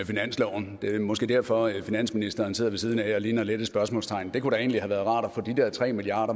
finansloven det er måske derfor finansministeren sidder ved siden af og ligner lidt et spørgsmålstegn det kunne da egentlig have været rart at få de der tre milliard